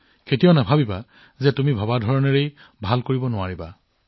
কেতিয়াও নাভাবিব যে আপুনি যি হব বিচাৰে তাত আপুনি ভাল হব নোৱাৰে